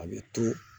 A bɛ turu